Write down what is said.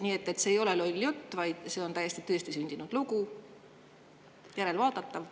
Nii et see ei ole loll jutt, vaid see on täiesti tõestisündinud asi, järelvaadatav.